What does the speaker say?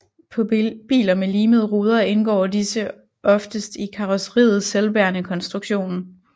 På biler med limede ruder indgår disse oftest i karrosseriets selvbærende konstruktion